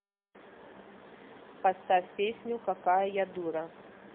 поставь песню какая я дура